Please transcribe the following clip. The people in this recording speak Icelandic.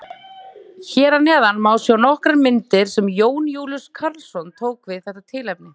Hér að neðan má sjá nokkrar myndir sem Jón Júlíus Karlsson tók við þetta tilefni.